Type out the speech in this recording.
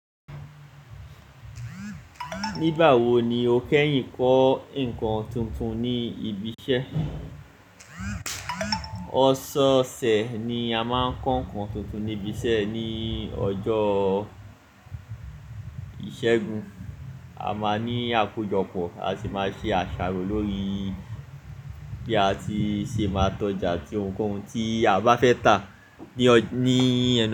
Nígbà wo ni o kẹ́yìn kọ ǹkan tuntun ní ibi iṣẹ́? Ọ̀ṣọ̀ṣẹ̀ ni a máa ń kọ ǹkan tuntun ní ibi iṣẹ́ ní ọjọ́ ìṣẹ́gun. A máa ní àkójọpọ̀, a sì máa ṣe àṣàrò lórí bí a ti ṣe máa tọ́ja ti ohunkóhun tí a bá fẹ́ tà ní ọ-- níi nu.